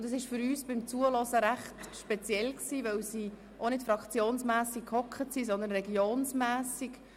Das war für uns beim Zuhören recht speziell, weil die Parlamentarier dort auch nicht nach Fraktionen, sondern nach Regionen sitzen.